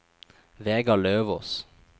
Vegar Løvås